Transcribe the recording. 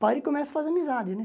Para e começa a fazer amizade, né?